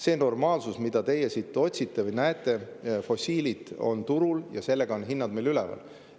See normaalsus, mida teie siit otsite või siin näete, fossiilid on turul, on meil hinnad üleval.